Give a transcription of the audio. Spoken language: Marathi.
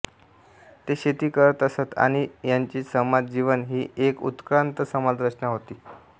ते शेती करत असत आणि यांचे समाज जीवन ही एक उत्क्रान्त समाज रचना होती